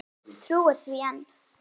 Trúir því enn.